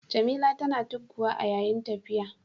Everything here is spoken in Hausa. Jamila tana tugguwa a yayin tafiya.